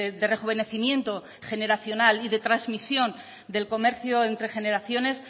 de rejuvenecimiento generacional y de trasmisión del comercio entre generaciones